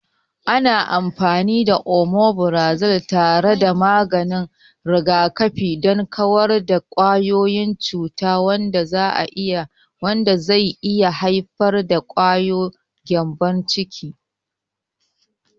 Ana amfani da Omifirazol tare da maganin rigakafi don kawar da kwayoyin cuta, wanda zai iya haifar da gyambon ciki.